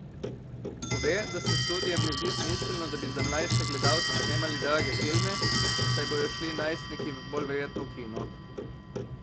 Pove, da se studiem ne zdi smiselno, da bi za mlajše gledalce snemali drage filme, saj bodo šli najstniki bolj verjetno v kino.